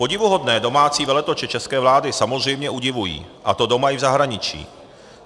Podivuhodné domácí veletoče české vlády samozřejmě udivují, a to doma i v zahraničí.